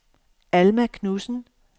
Alma Knudsen